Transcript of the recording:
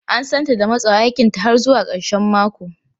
An santa da matsawa aikinta har zuwa karshen mako.